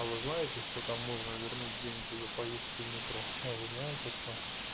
а вы знаете что там можно вернуть деньги за поездки в метро а вы знаете что